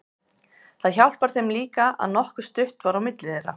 Það hjálpar þeim líka að nokkuð stutt var á milli þeirra.